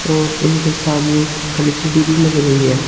और इनके सामने एक एल_सी_डी भी लग रही है।